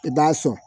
I b'a sɔn